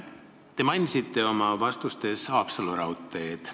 Te mainisite oma vastustes Haapsalu raudteed.